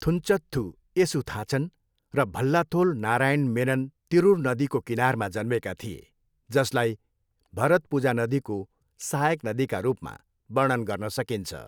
थुन्चथ्थू एसुथाचन र भल्लाथोल नारायण मेनन तिरुर नदीको किनारमा जन्मेका थिए, जसलाई भरतपुजा नदीको सहायक नदीका रूपमा वर्णन गर्न सकिन्छ।